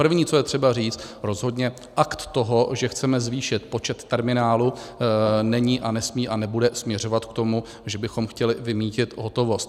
První, co je třeba říct, rozhodně akt toho, že chceme zvýšit počet terminálů, není a nesmí a nebude směřovat k tomu, že bychom chtěli vymýtit hotovost.